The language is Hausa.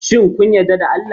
Shin kun yarda da Allah?